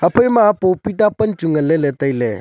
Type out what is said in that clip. kue ema papeeta tan chu ngan ley ley tailey.